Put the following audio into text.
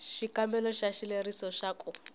xikombelo xa xileriso xa ku